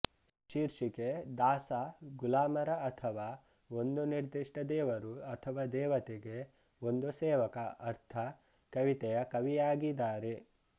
ಶೀರ್ಷಿಕೆ ದಾಸ ಗುಲಾಮರ ಅಥವಾ ಒಂದು ನಿರ್ದಿಷ್ಟ ದೇವರು ಅಥವಾ ದೇವತೆಗೆ ಒಂದು ಸೇವಕ ಅರ್ಥ ಕವಿತೆಯ ಕವಿಯಾಗಿದಾರೆ